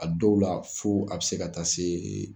A dɔw la fo a bɛ se ka taa se